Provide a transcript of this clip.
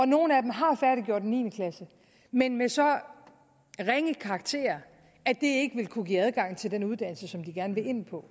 nogle har færdiggjort niende klasse men med så ringe karakterer at det ikke vil kunne give adgang til den uddannelse som de gerne vil ind på